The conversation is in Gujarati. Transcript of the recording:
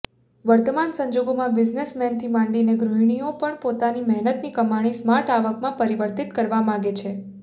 વર્તમાન સંજોગોમાં બિઝનેસમેનથી માંડીને ગૃહિણીઓ પણ પોતાની મહેનતની કમાણીને સ્માર્ટ આવકમાં પરિવર્તિત કરવા માગે છે